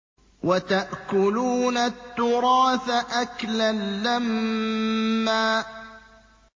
وَتَأْكُلُونَ التُّرَاثَ أَكْلًا لَّمًّا